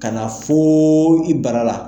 Ka na fo i bara la